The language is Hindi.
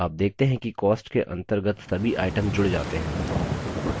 आप देखते हैं कि cost के अंतर्गत सभी items जुड़ जाते हैं